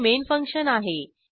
हे main function आहे